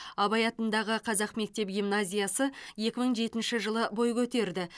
абай атындағы қазақ мектеп гимназиясы екі мың жетінші жылы бой көтерді